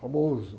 Famoso.